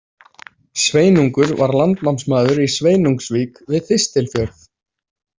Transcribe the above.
Sveinungur var landnámsmaður í Sveinungsvík við Þistilfjörð.